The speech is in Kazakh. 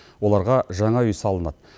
оларға жаңа үй салынады